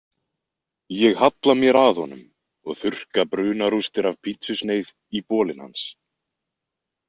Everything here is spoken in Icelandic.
Ég halla mér að honum og þurrka brunarústir af pítsusneið í bolinn hans.